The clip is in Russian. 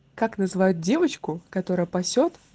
как называют девочку которая пасёт